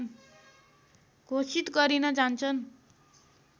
घोषित गरिन जान्छन्